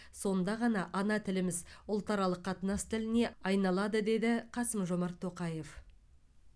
сонда ғана ана тіліміз ұлтаралық қатынас тіліне айналады деді қасым жомарт тоқаев